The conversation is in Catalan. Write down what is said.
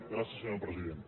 gràcies senyor president